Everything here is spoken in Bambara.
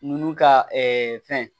Nunnu ka fɛn